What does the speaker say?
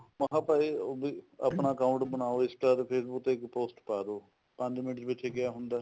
ਮੈਂ ਕਿਹਾ ਭਾਈ ਵੀ ਆਪਣਾ account ਬਣਾਓ INSTA ਤੇ Facebook ਤੇ ਇੱਕ post ਪਾਦੋ ਪੰਜ ਮਿੰਟ ਵਿੱਚ ਕਿਆ ਹੁੰਦਾ